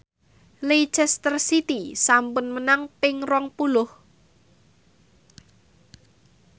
Leicester City sampun menang ping rong puluh